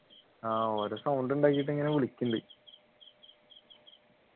ആഹ് ഓരോ sound ഉണ്ടാക്കീട്ടിങ്ങനെ വിളിക്കുന്നുണ്ട്